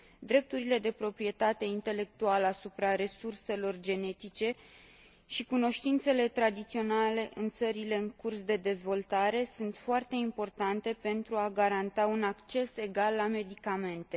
Drepturile de proprietate intelectuală asupra resurselor genetice și cunoștințele tradiționale în țările în curs de dezvoltare sunt foarte importante pentru a garanta un acces egal la medicamente.